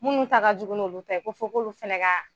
Minnu ta ka jugu n'olu ta ye ko fɔ k'olu fana ka